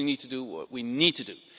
We only need to do what we need to do.